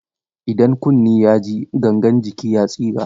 Idan kunne ya ji, gangan jiki ya tsira.